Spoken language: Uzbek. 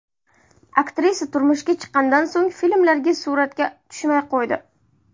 Aktrisa turmushga chiqqanidan so‘ng filmlarda suratga tushmay qo‘ydi.